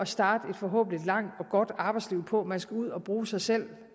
starte et forhåbentlig langt og godt arbejdsliv på man skal ud at bruge sig selv